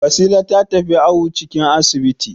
Wasila ta tafi awon ciki a asibiti.